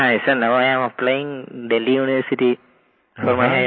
हाँ sir now I am applying in Delhi university for my